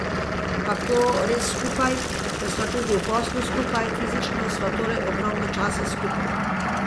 Ampak to res skupaj, ker sva tudi v poslu skupaj, fizično sva torej ogromno časa skupaj.